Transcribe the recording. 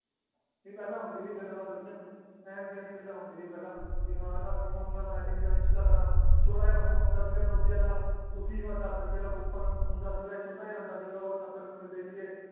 ਪਹਿਲਾਂ ਹੁੰਦੀ ਸੀ ਗਲਾਂ ਵਾ ਬੜ੍ਹੀਆਂ ਏਂ ਸਿਆਣੀ ਗੱਲਾਂ ਹੁੰਦੀ ਸੀ ਪਹਿਲਾਂ ਕਿ ਹਾਂ ਨਾ ਫੋਨ ਨਾ message ਨਾ ਇੰਸਟਾਗ੍ਰਾਮ ਛੋਟਾ ਜੇਆ ਫੋਨ ਹੁੰਦਾ ਸੀਗਾ ਨੋਕੀਆ ਦਾ ਉਸੀ ਮੇ ਦੱਸ ਰੁਪਏ ਦਾ coupon ਹੁੰਦਾ ਸੀਗਾ ਇੱਕ ਛੋਟਾ ਜੇਆ ਆਂਦਾ ਸੀਗਾ ਉਹ ਸੱਤ ਰੁਪਏ ਮਿਲਦੇ ਸੀਗੇ